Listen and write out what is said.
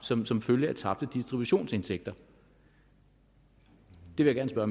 som som følge af tabte distributionsindtægter det vil jeg